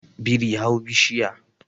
biri hau bishiya